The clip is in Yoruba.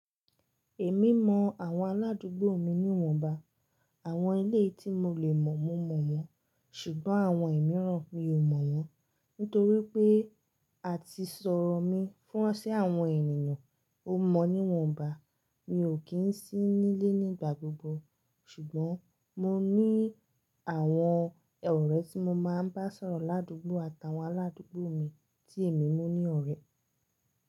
Èmi mọ àwọn aládùúgbò mi níwọ̀nba, àwọn elé tí mo le mọ̀ mọ mọ̀ wọ́n, ṣùgbọ́n àwọn ẹ̀mí ràn mi ò mọ̀ wọ́n. Nítorí pé a ti sọ̀rọ̀ mi fún ọṣẹ àwọn ènìyàn ó mọ níwọ̀nba. Mi ò kí ń sí nílé nígbà gbogbo, ṣùgbọ́n mo ní àwọn ọ̀rẹ́ tí mo máa ń bá sọ̀rọ̀ ládùúgbò àtàwọn aládùúgbò mi tí èmi mú ní ọ̀rẹ́.